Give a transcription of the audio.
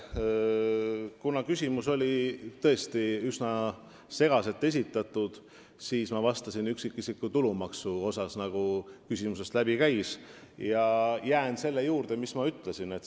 Kuna küsimus oli üsna segaselt esitatud, siis ma vastasin üksikisiku tulumaksu kohta, mis küsimusest läbi käis, ja jään selle juurde, mis ma ütlesin.